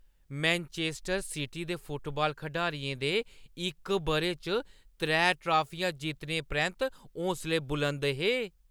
Manchester City दे football खडारियें दे इक बʼरे च त्रै ट्राफियां जित्तने परैंत्त हौसले बुलंद हे।